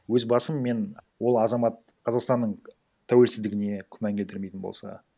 өз басым мен ол азамат қазақстанның тәуелсіздігіне күмән келтірмейтін болса